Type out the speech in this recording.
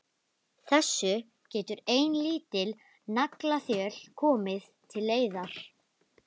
Þessu getur ein lítil naglaþjöl komið til leiðar.